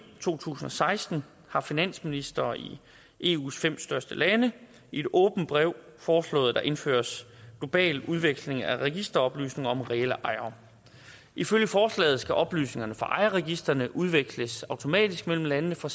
to tusind og seksten har finansministre i eus fem største lande i et åbent brev foreslået at der indføres global udveksling af registeroplysninger om reelle ejere ifølge forslaget skal oplysningerne fra ejerregistrene udveksles automatisk mellem landene for